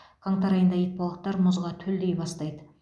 қаңтар айында итбалықтар мұзға төлдей бастайды